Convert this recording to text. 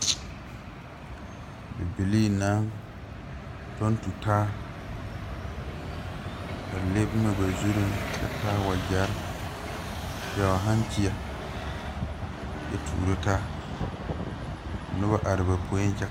Bibilii naŋ tɔŋ tutaa a le boma ba zureŋ kyɛ taa wagyɛre pɛgle hankyieɛ kyɛ tuuro taa ka nobɔ are ba poeŋ kyɛ.